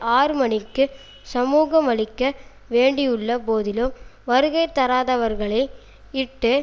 ஆறு மணிக்கு சமூகமளிக்க வேண்டியுள்ள போதிலும் வருகை தராதவர்களை இட்டு